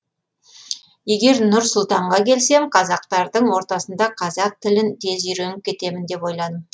егер нұр сұлтанға келсем қазақтардың ортасында қазақ тілін тез үйреніп кетемін деп ойладым